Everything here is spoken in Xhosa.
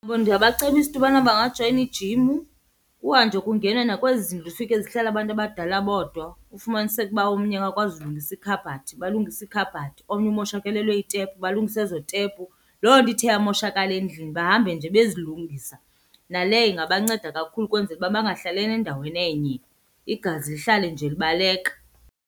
Ndingabacebisa into ubana bangajoyina ijim, kuhanjwe kungenwa nakwezi zindlu zifike zihlala abantu abadala bodwa ufumaniseke ukuba omnye akakwazi ulungisa ikhabhathi balungise iikhabhathi, omnye umoshakalelwe yitepu balungise ezo tepu. Loo nto ithe yamoshakala endlini bahambe nje bezilungisa. Naleyo ingabanceda kakhulu ukwenzela uba bangahlali endaweni enye, igazi lihlale nje libaleka.